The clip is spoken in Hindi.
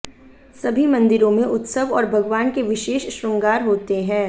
सभी मंदिरों में उत्सव और भगवान् के विशेष श्रृंगार होते हैं